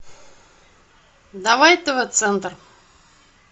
давай тв центр